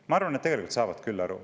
Ma arvan, et tegelikult saavad küll.